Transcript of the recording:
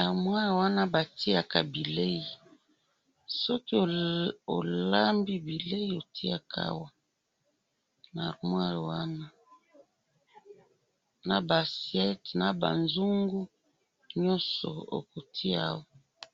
aremoire wana ba tiaka bileyi soki o lambi bileyi o tiaka awa na arremoire wana na ba assiete na ba nzungu nyoso oko tia awa